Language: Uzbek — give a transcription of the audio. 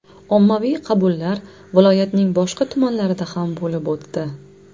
Ommaviy qabullar viloyatning boshqa tumanlarida ham bo‘lib o‘tdi.